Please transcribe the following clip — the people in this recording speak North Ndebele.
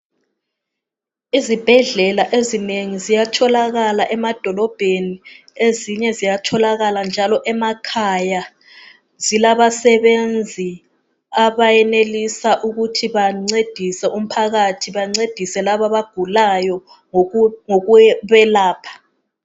Izibhedlela ezinengi ziyatholakala emadolobheni, ezinye ziyatholakala njalo emakhaya. Zilabasebenzi abenelisa ukuthi bancedise umphakathi, bancedise labo abagulayo ngokubelapha.